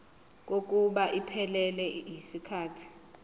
kokuba iphelele yisikhathi